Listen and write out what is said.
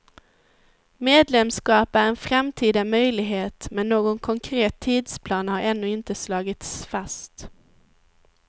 Medlemskap är en framtida möjlighet, men någon konkret tidsplan har ännu inte slagits fast.